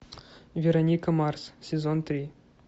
вероника марс сезон три